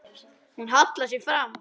Hún hallar sér fram.